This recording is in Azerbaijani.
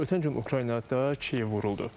Ötən gün Ukraynada Kiyev vuruldu.